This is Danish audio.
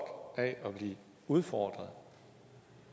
af at blive udfordret